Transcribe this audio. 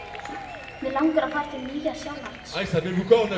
Mig langar að fara til Nýja-Sjálands.